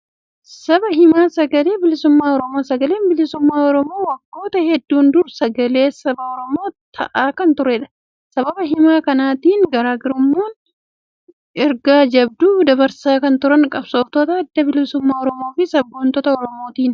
Sabaa himaa Sagalee Bilisummaa Oromoo. Sagalee Bilisummaa Oromoo waggoota hedduun dura sagalee saba Oromoo ta'aa kan turedha. Sabaa himaa kanatti gargaaramuun ergaa jabduu dabarsaa kan turan qabsooftota adda bilisummaa Oromoo fi sabboontota Oromooti.